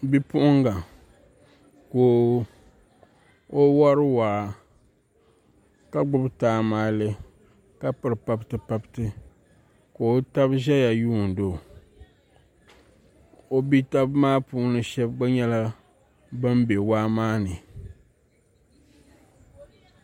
Bipuɣunga ka o wori waa ka gbubi taamalɛ ka piri pabti pabti ka o tabi ʒɛya yuundi o o bia tabi maa puuni shab gba nyɛla bin bɛ waa maa ni